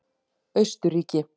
Austurríki